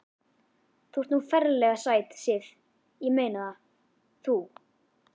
Þú ert nú ferlega sæt, Sif. ég meina það. þú.